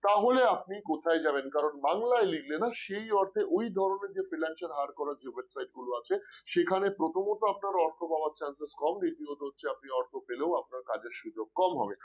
তাহলে আপনি কোথায় কোথায় যাবেন কারণ বাংলায় লিখলে না সেই অর্থে ওই ধরনের যে freelancer hire করার website গুলো যে আছে সেখানে প্রথমত আপনার অর্থ পাওয়ার chances কম দ্বিতীয়ত আপনি অর্থ পেলেও আপনার কাজের সুযোগ কম হবে